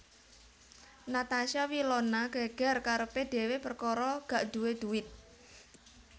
Natasha Wilona geger karepe dhewe perkara gak duwe duwit